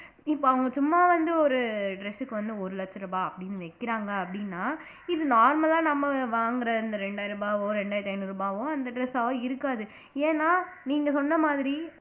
இப்ப அவங்க சும்மா வந்து ஒரு dress க்கு வந்து ஒரு லட்ச ரூபாய் அப்படின்னு வைக்கிறாங்க அப்படின்னா இது normal லா நம்ம வாங்குற இந்த இரண்டாயிரம் ரூபாவோ ரெண்டாயிரத்தி ஐந்நூறு ரூபாவோ அந்த dress ஆவோ இருக்காது ஏன்னா நீங்க சொன்ன மாதிரி